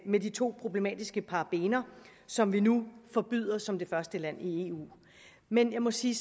med de to problematiske parabener som vi nu forbyder som det første land i eu men jeg må sige